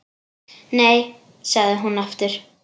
Nei, sagði hún aftur.